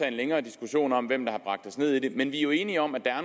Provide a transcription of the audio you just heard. en længere diskussion om hvem der har bragt os ned i det hul men vi er jo enige om at der er